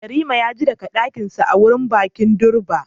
Yarima ya ji daga dokinsa a wurin bikin durbar